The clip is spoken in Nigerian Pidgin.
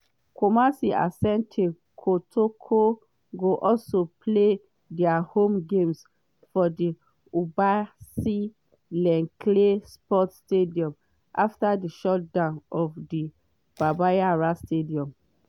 kumasi asante kotoko go also play dia home games for di obuasi len clay sports stadium afta di shutdown of the baba yara stadium.